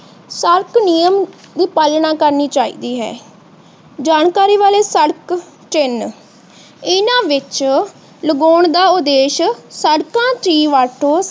ਨਿਯਮ ਦੀ ਪਾਲਣਾ ਕਰਨੀ ਚਾਹਿਦੀ ਹੈ। ਜਾਨਕਾਰੀ ਵਾਲੇ ਸੜਕ ਚਿਹਨ ਇਹਨਾਂ ਵਿੱਚ ਲਗਾਉਣ ਦਾ ਉੱਦੇਸ਼ ਸੜਕਾਂ ਦੀ ਵਰਤੋਂ